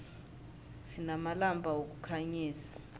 sinamalampa wokukhanyisa